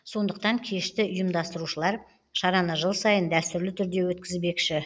сондықтан кешті ұйымдастырушылар шараны жыл сайын дәстүрлі түрде өткізбекші